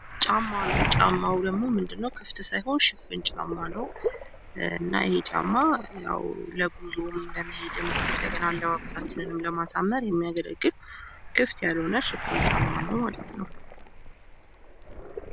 ጫማ ነው ።ጫማው ደግሞ ምንድነው ? ክፍት ሳይሆን ሽፍን ጫማ ነው ።እና ይሄ ጫማም ያው ለጉዞም፣ ለመሄድም ፣አለባበሳችን ለማሳመርም የሚያገለግል ክፍት ያልሆነ ሽፍን ጫማ ነው።